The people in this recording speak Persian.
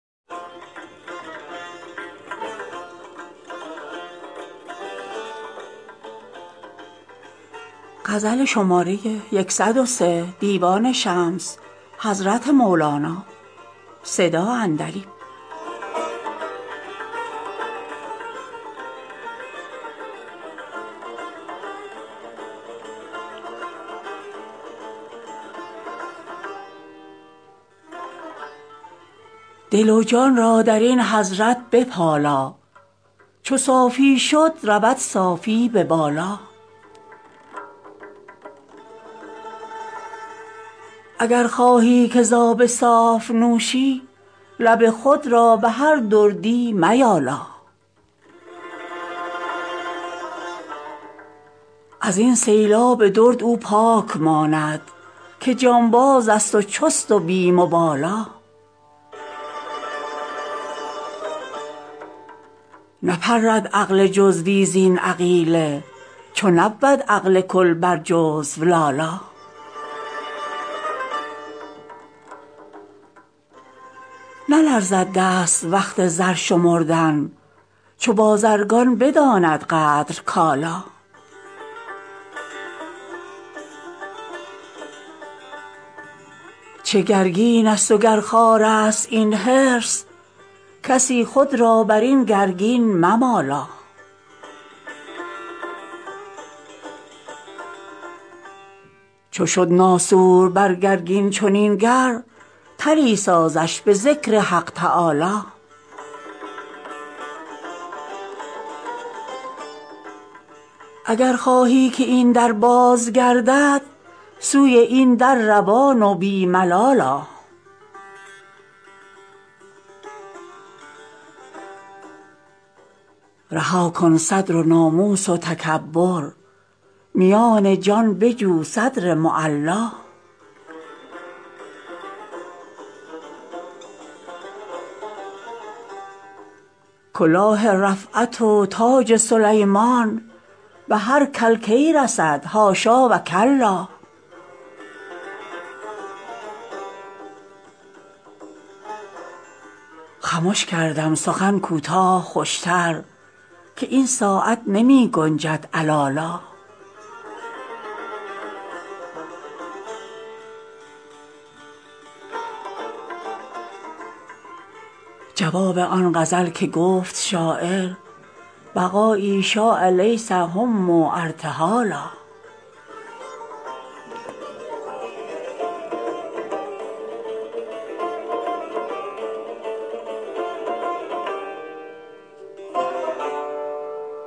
دل و جان را در این حضرت بپالا چو صافی شد رود صافی به بالا اگر خواهی که ز آب صاف نوشی لب خود را به هر دردی میالا از این سیلاب درد او پاک ماند که جانبازست و چست و بی مبالا نپرد عقل جزوی زین عقیله چو نبود عقل کل بر جزو لالا نلرزد دست وقت زر شمردن چو بازرگان بداند قدر کالا چه گرگینست وگر خارست این حرص کسی خود را بر این گرگین ممالا چو شد ناسور بر گرگین چنین گر طلی سازش به ذکر حق تعالا اگر خواهی که این در باز گردد سوی این در روان و بی ملال آ رها کن صدر و ناموس و تکبر میان جان بجو صدر معلا کلاه رفعت و تاج سلیمان به هر کل کی رسد حاشا و کلا خمش کردم سخن کوتاه خوشتر که این ساعت نمی گنجد علالا جواب آن غزل که گفت شاعر بقایی شاء لیس هم ارتحالا